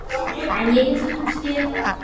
En ég get svo sem skilið það.